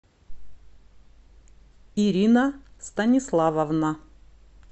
ирина станиславовна